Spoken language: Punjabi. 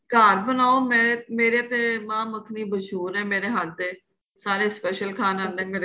ਘਰ ਬਣਾਉ ਮੈਂ ਮੇਰੇ ਤੇ ਮਾਂ ਮੱਖਣੀ ਮਹੂਸ਼ਰ ਏ ਮੇਰੇ ਹੱਥ ਦੇ ਸਾਰੇ special ਖਾਣ ਆਦੇ ਏ ਮੇਰੇ ਕੋਲ